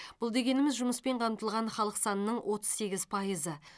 бұл дегеніміз жұмыспен қамтылған халық санының отыз сегіз пайызы